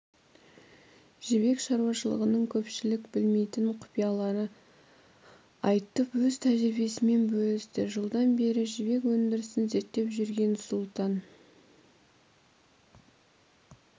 жібек шаруашылығының көпшілік білмейтін құпияларын айтып өз тәжірбиесімен бөлісті жылдан бері жібек өндірісін зерттеп жүргенсұлтан